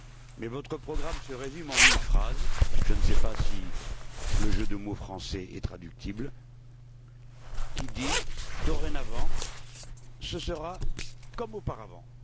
Mais votre programme se résume en une phrase je ne sais pas si le jeu de mots français est traduisible qui dit Dorénavant, ce sera comme auparavant.